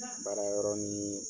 Baara yɔrɔ ni